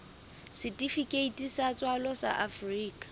setifikeiti sa tswalo sa afrika